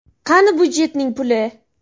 Qani budjetning puli?